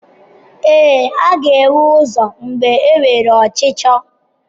Ee, a ga-enwe ụzọ mgbe enwere ọchịchọ.